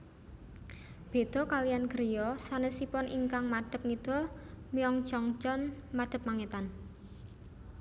Béda kaliyan griya sanesipun ingkang madep ngidul Myeongjeongjeon madep mangetan